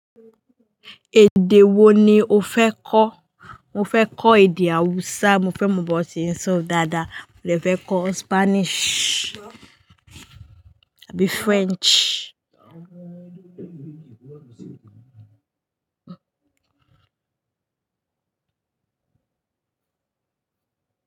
Èdè wo ni o fẹ́ kọ́? Mo fẹ́ kọ́ èdè Hausa, mo fẹ́ mọ bí wọ́n ṣe ń sọ dáadáa. Mo dè fẹ́ kọ́ Spanish àbí French.